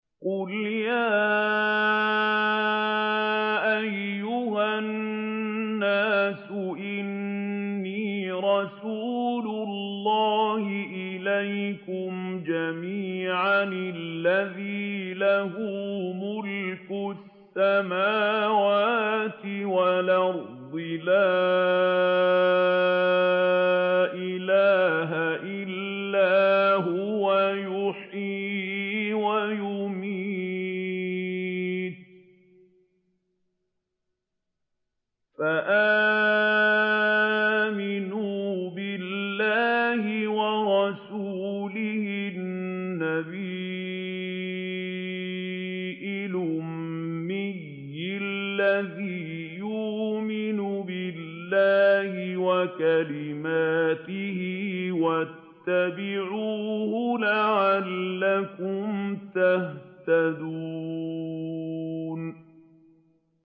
قُلْ يَا أَيُّهَا النَّاسُ إِنِّي رَسُولُ اللَّهِ إِلَيْكُمْ جَمِيعًا الَّذِي لَهُ مُلْكُ السَّمَاوَاتِ وَالْأَرْضِ ۖ لَا إِلَٰهَ إِلَّا هُوَ يُحْيِي وَيُمِيتُ ۖ فَآمِنُوا بِاللَّهِ وَرَسُولِهِ النَّبِيِّ الْأُمِّيِّ الَّذِي يُؤْمِنُ بِاللَّهِ وَكَلِمَاتِهِ وَاتَّبِعُوهُ لَعَلَّكُمْ تَهْتَدُونَ